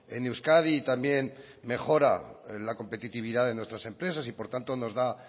en euskadi y también mejora la competitividad de nuestras empresas y por tanto nos da